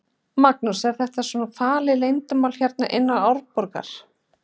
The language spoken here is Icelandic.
Magnús: Er þetta svona falið leyndarmál hérna inna Árborgar?